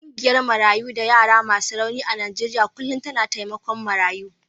Ƙungiyar Marayu da yara masu rauni a Najeriya kullum tana taimakon marayu.